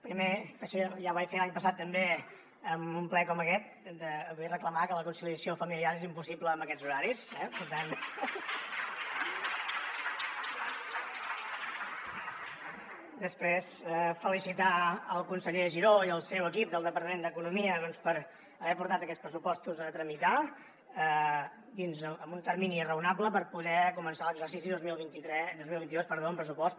primer em penso que ja ho vaig fer l’any passat també en un ple com aquest vull reclamar que la conciliació familiar és impossible amb aquests horaris eh després felicitar el conseller giró i el seu equip del departament d’economia doncs per haver portat aquests pressupostos a tramitar en un termini raonable per poder començar l’exercici dos mil vint dos amb pressupost